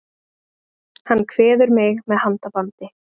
Hann kveður mig með handabandi.